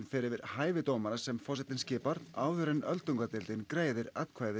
fer yfir hæfi dómara sem forsetinn skipar áður en öldungadeildin greiðir atkvæði